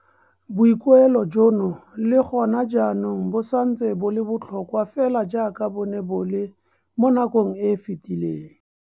Boikuelo jono le go na jaanong bo santse bo le botlhokwa fela jaaka bo ne bo le mo nakong e e fetileng.